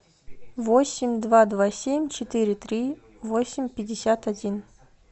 восемь два два семь четыре три восемь пятьдесят один